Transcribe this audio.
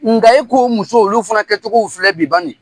Nka i k'o o muso olu fana kɛcogow filɛ bi bani